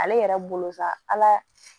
Ale yɛrɛ bolo sa ala